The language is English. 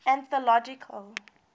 anthological